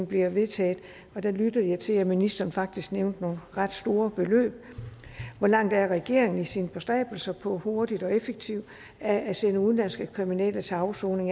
bliver vedtaget og der lyttede jeg til at ministeren faktisk nævnte nogle ret store beløb hvor langt er regeringen i sine bestræbelser på hurtigt og effektivt at sende udenlandske kriminelle til afsoning